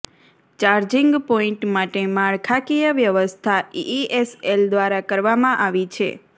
charging point માટે માળખાકીય વ્યવસ્થા ઈઈએસએલ દ્વારા કરવામાં આવી છે